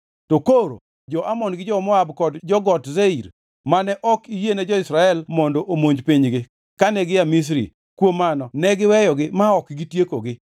“To koro jo-Amon gi jo-Moab kod jo-Got Seir mane ok iyiene jo-Israel mondo omonj pinygi kane gia Misri; kuom mano ne giweyogi ma ok gitiekogi.